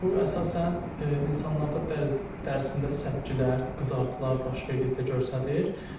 Bu əsasən insanlarda dərisində səpgilər, qızartılar baş verdikdə göstərir.